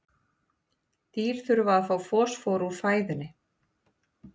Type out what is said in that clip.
Dýr þurfa að fá fosfór úr fæðunni.